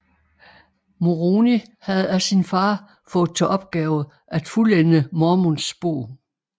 Moroni havde af sin far fået til opgave at fuldende Mormons Bog